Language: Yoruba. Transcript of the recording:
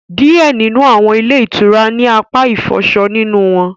Diẹ nínú awọn ilé itúrá ni apá ifọṣọ nínú wọn